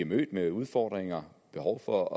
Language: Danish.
mødt med udfordringer behov for